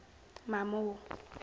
mamo